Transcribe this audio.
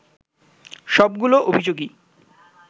সবগুলো অভিযোগই